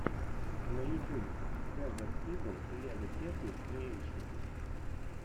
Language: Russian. на ютюбе дезерт игл лего текник криэйшн